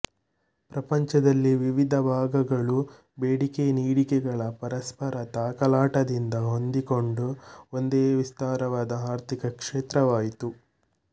ಪ್ರಪಂಚದಲ್ಲಿ ವಿವಿಧ ಭಾಗಗಳೂ ಬೇಡಿಕೆನೀಡಿಕೆಗಳ ಪರಸ್ಪರ ತಾಕಲಾಟದಿಂದ ಹೊಂದಿಕೆಗೊಂಡು ಒಂದೇ ವಿಸ್ತಾರವಾದ ಆರ್ಥಿಕ ಕ್ಷೇತ್ರವಾಯಿತು